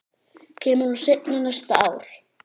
Kemur hún seinna næsta ár?